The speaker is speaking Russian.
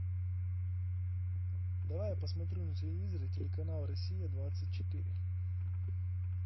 давай я посмотрю на телевизоре телеканал россия двадцать четыре